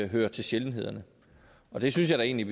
hører til sjældenhederne og det synes jeg da egentlig